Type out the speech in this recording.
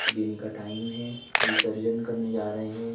दिन का टाइम है विसर्जन करने जा रहे हैं।